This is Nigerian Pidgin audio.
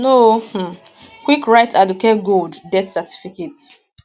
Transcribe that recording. no um quick write aduke gold death certificate